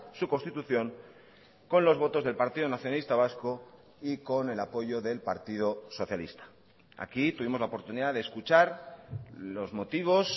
su constitución con los votos del partido nacionalista vasco y con el apoyo del partido socialista aquí tuvimos la oportunidad de escuchar los motivos